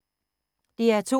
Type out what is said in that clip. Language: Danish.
DR2